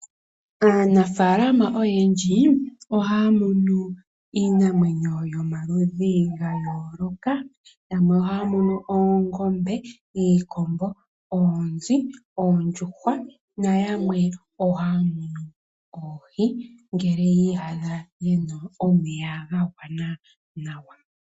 Aanafaalama oyendji ohaya munu iinamwenyo yomaludhi gayooloka yamwe ohaya munu oongombe, iikombo, oonzi, oondjuhwa nayamwe ohaya munu oohi ngele yi iyadha yeli pomeya ga gwana nawa.